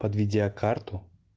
под видеокарту